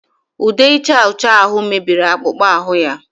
Ude ịcha ọcha ahụ mebiri akpụkpọ ahụ ya